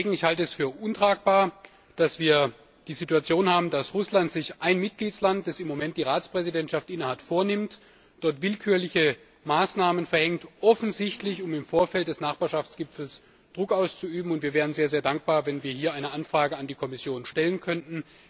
Ich halte es für untragbar, dass wir die Situation haben, dass Russland sich einen Mitgliedstaat, der im Moment die Präsidentschaft innehat, vornimmt, dort willkürliche Maßnahmen verhängt, offensichtlich um im Vorfeld des Nachbarschaftsgipfels Druck auszuüben, und wir wären sehr dankbar, wenn wir hier eine Anfrage an die Kommission stellen könnten.